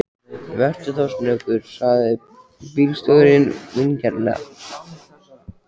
Vertu þá snöggur, sagði bílstjórinn vingjarnlega.